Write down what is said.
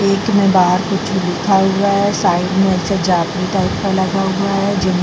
एक में बाहर कुछ लिखा हुआ साइड में ऐसे लगा हुआ है जिस में --